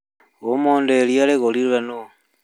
mũthĩ iria rĩgũrirwo nũũ?